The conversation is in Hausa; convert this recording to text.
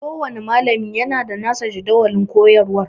Kowanne malami yana da nasa tsarin jadawalin koyarwar